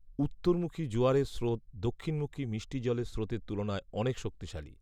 উত্তরমুখী জোয়ারের স্রোত দক্ষিণমুখী মিষ্টি জলের স্রোতের তুলনায় অনেক শক্তিশালী